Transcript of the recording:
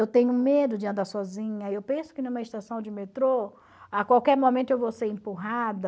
Eu tenho medo de andar sozinha, eu penso que numa estação de metrô, a qualquer momento eu vou ser empurrada,